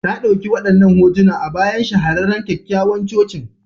Ta ɗauki wadannan hotuna a bayan shahararren kyakkyawan cocin.